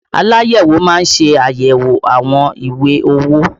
Aláyẹ̀wò má ń ṣe ayẹwo àwọn ìwé owó